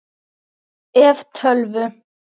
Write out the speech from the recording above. ef. tölvu